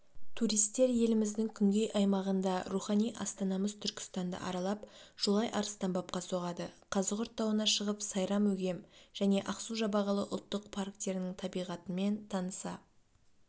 туристер еліміздің күнгей аймағында рухани астанамыз түркістанды аралап жолай арыстанбабқа соғады қазығұрт тауына шығып сайрам-өгем және ақсу-жабағылы ұлттық парктерінің табиғатымен таныса